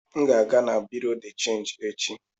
M ga aga na Buruu de chenji echi.